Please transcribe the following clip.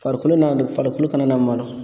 Farikolo n'a tɛ farikolo ka nana malo